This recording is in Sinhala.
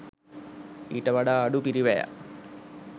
ඊට වඩා අඩු පිරිවැයක්